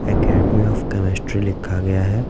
Academy of chemistry लिखा गया हैं ।